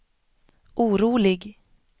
orolig